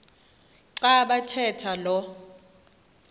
xa bathetha lo